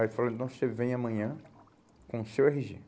Aí falaram, então você vem amanhã com o seu erre gê.